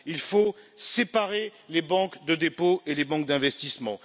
Il faut séparer les banques de dépôt et les banques d'investissement.